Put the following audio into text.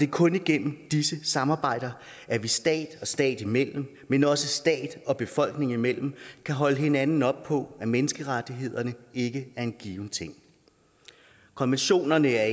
kun igennem disse samarbejder at vi stat og stat imellem men også stat og befolkning imellem kan holde hinanden op på at menneskerettighederne ikke er en given ting konventionerne er